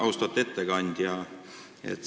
Austatud ettekandja!